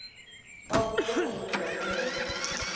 ba opile kgomo lenaka ge